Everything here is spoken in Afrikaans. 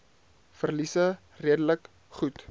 verliese redelik goed